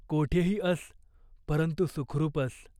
कोठेही अस, परंतु सुखरूप अस.